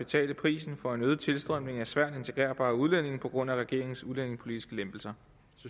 betale prisen for en øget tilstrømning af svært integrerbare udlændinge på grund af regeringens udlændingepolitiske lempelser